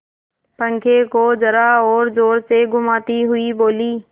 पंखे को जरा और जोर से घुमाती हुई बोली